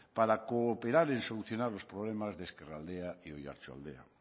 para cooperar en solucionar los problemas de ezkerraldea y oarsoldea